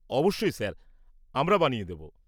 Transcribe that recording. অবশ্যই স্যার, আমরা বানিয়ে দেব।